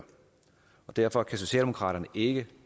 derfor kan socialdemokraterne ikke